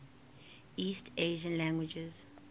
east asian languages